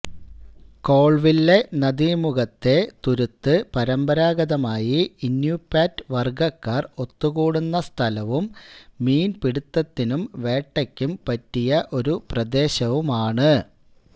Colville നദീമുഖത്തിലെ തുരുത്ത് പരമ്പരാഗതമായി ഇനുപ്യാറ്റ് വർഗ്ഗക്കാർ ഒത്തുകൂടുന്ന സ്ഥലവും മീൻ പിടുത്തത്തിനും വേട്ടയ്ക്കും പറ്റിയ ഒരു പ്രദേശവുമാണ്